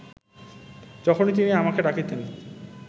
যখনই তিনি আমাকে ডাকিতেন